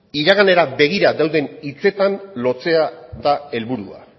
iraganera begira dauden hitzetan lotzea da helburua